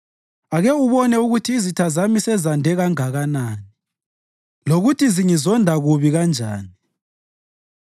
Ake ubone ukuthi izitha zami sezande kangakanani, lokuthi zingizonda kubi kanjani!